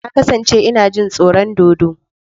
Na kasance ina jin tsoron dodo.